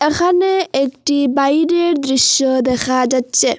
এখানে একটি বাইরের দৃশ্য দেখা যাচ্ছে।